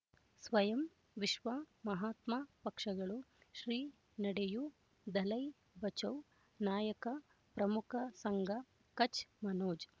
ಸ್ವಯಂ ವಿಶ್ವ ಮಹಾತ್ಮ ಪಕ್ಷಗಳು ಶ್ರೀ ನಡೆಯೂ ದಲೈ ಬಚೌ ನಾಯಕ ಪ್ರಮುಖ ಸಂಘ ಕಚ್ ಮನೋಜ್